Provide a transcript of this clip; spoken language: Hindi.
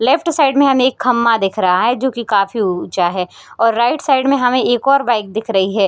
लेफ्ट साइड मे हमे एक खम्भा दिख रहा है। जोकि काफी ऊ-ऊचा है। और राईट साइड मे हमे एक और बाइक दिख रही है।